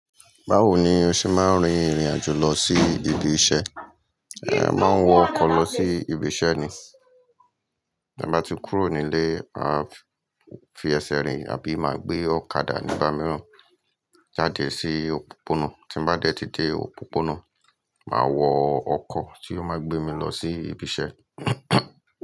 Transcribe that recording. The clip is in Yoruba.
Báwo ni o ṣe máa ń rin ìrìn àjò lọ sí ibi iṣẹ́? Máa ń wọ ọkọ̀ lọ sí ibi iṣẹ́ ni. Bí mo bá ti kúrò nílé, mà á fi ẹsẹ̀ rìn àbí máa gbé ọ̀kadà nígba mìíràn jáde sí òpópónà. Tí mo bá dẹ́ ti dé òpópónà, mà á wọ ọkọ̀ tí yóò máa gbé mi lọ sí ibi iṣẹ́.